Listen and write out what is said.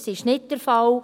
Das ist nicht der Fall.